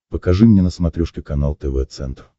покажи мне на смотрешке канал тв центр